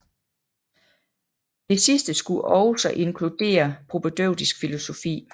Det sidste skulle også inkludere propædeutisk filosofi